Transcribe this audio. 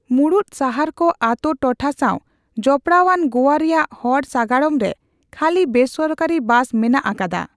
ᱢᱩᱲᱩᱫ ᱥᱟᱦᱟᱨᱠᱚ ᱟᱛᱳ ᱴᱚᱴᱷᱟ ᱥᱟᱣ ᱡᱚᱯᱲᱟᱣᱟᱱ ᱜᱳᱣᱟ ᱨᱮᱭᱟᱜ ᱦᱚᱲ ᱥᱟᱜᱟᱲᱚᱢᱨᱮ ᱠᱷᱟᱹᱞᱤ ᱵᱮᱥᱚᱨᱠᱟᱨᱤ ᱵᱟᱥ ᱢᱮᱱᱟᱜ ᱟᱠᱟᱫᱟ ᱾